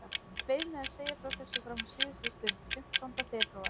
Ég beið með að segja frá þessu fram á síðustu stund, fimmtánda febrúar.